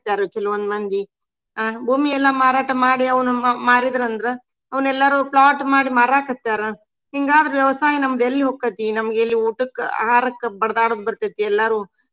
ಕೆಲವೊಂದ್ ಮಂದಿ ಅಹ್ ಭೂಮಿಯೆಲ್ಲಾ ಮಾರಾಟ ಮಾಡಿ ಅವನ ಮಾ~ಮಾರಿದ್ರಂದ್ರ ಅವನೆಲ್ಲಾರು plot ಮಾಡಿ ಮಾರಾಕತ್ಯಾರ. ಹಿಂಗಾದ್ರ ವ್ಯವಸಾಯ ನಮ್ದ ಎಲ್ಲಿ ಹೊಕ್ಕತಿ. ನಮ್ಗ ಇಲ್ಲಿ ಊಟಕ್ಕ ಆಹಾರಕ್ಕ ಬಡದಾಡೊದ ಬರ್ತೆತಿ ಎಲ್ಲಾರು.